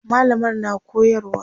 mallamar na koyarwa